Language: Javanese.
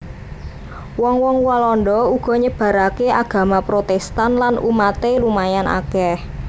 Wong wong Walanda uga nyebaraké agama Protèstan lan umaté lumayan akèh